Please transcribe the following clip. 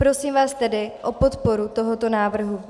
Prosím vás tedy o podporu tohoto návrhu.